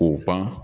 K'u pan